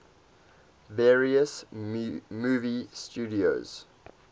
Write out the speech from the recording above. various movie studios